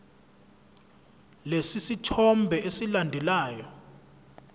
lesi sithombe esilandelayo